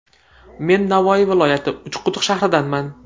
Men Navoiy viloyati, Uchquduq shahridanman.